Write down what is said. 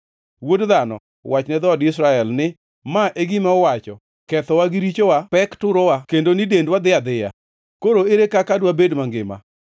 “Wuod dhano, wach ne dhood Israel ni, ‘Ma e gima uwacho: “Kethowa gi richowa pek turowa kendo ni dendwa dhi adhiya. Koro ere kaka dwabed mangima.” ’